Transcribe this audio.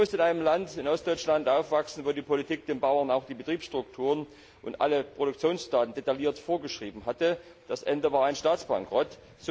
Ich musste in einem Land, in Ostdeutschland, aufwachsen, in dem die Politik den Bauern auch die Betriebsstrukturen und alle Produktionsdaten detailliert vorgeschrieben hatte. Das Ende war ein Staatsbankrott.